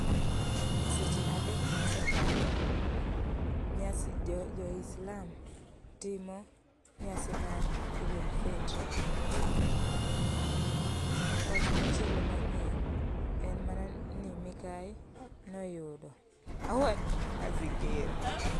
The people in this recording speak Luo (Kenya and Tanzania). E seche adek mosekalo, nyasi, jo jo islam timo nyasi mar Eid al-Fitr. um Wach machielo manyien en mana ni mikai noyudo